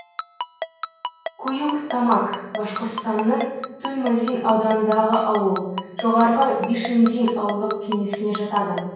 куюк тамак башқұртстанның туймазин ауданындағы ауыл жоғарғы бишиндин ауылдық кеңесіне жатады